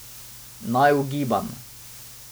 Naj ugibam.